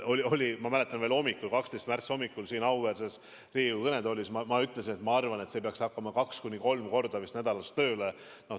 Ma mäletan, veel 12. märtsi hommikul siin auväärses Riigikogu kõnetoolis ma ütlesin, et ma arvan, et see peaks hakkama kaks-kolm korda nädalas tööle.